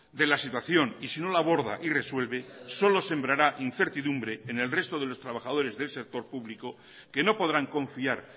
de la situación y si no la aborda y resuelve solo sembrará incertidumbre en el resto de los trabajadores del sector público que no podrán confiar